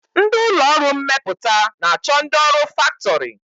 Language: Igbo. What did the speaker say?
Ndị ụlọọrụ mmepụta na-achọ ndị ọrụ faktọrị